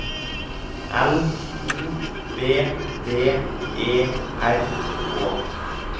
L O V V E R K